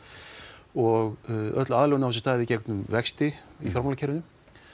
og öll aðlögun á sér stað í gegnum vexti í fjármálakerfinu